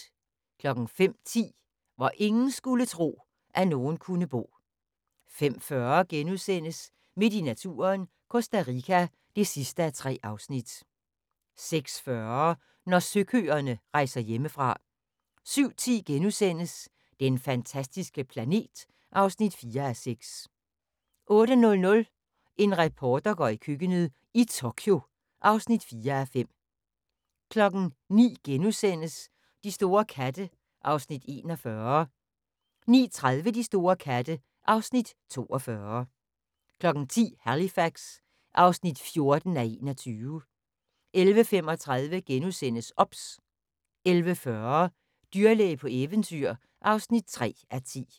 05:10: Hvor ingen skulle tro, at nogen kunne bo 05:40: Midt i naturen – Costa Rica (3:3)* 06:40: Når søkøerne rejser hjemmefra 07:10: Den fantastiske planet (4:6)* 08:00: En reporter går i køkkenet - i Tokyo (4:5) 09:00: De store katte (Afs. 41)* 09:30: De store katte (Afs. 42) 10:00: Halifax (14:21) 11:35: OBS * 11:40: Dyrlæge på eventyr (3:10)